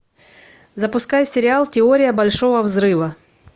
запускай сериал теория большого взрыва